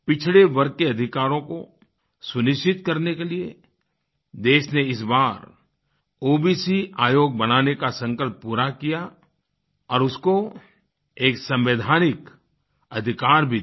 पिछड़े वर्ग के अधिकारों को सुनिश्चित करने के लिए देश ने इस बार ओबीसी आयोग बनाने का संकल्प पूरा किया और उसको एक संवैधानिक अधिकार भी दिया